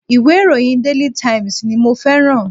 Ìwé ìròyìn daily times ni mo feran